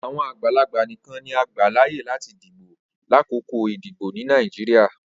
Awọn agbalagba nikan ni o gba laaye lati dibo lakoko idibo ni Nigeria.